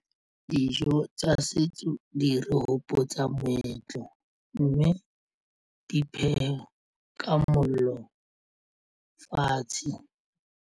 Dijo tsa setso di re hopotsa moetlo mme di phewa ka mollo fatshe.